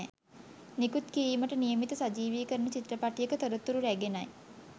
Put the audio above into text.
නිකුත් කිරීමට නියමිත සජීවිකරණ චිත්‍රපටයක තොරතුරු රැගෙනයි